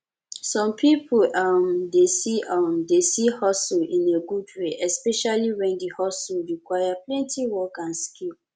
some pipo um dey see um dey see hustle in a good way especially when di hustle require plenty work and skill